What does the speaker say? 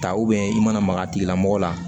Ta i mana maga a tigi la mɔgɔ la